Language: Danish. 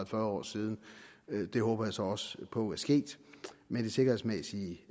fyrre år siden det håber jeg så også på er sket men den sikkerhedsmæssige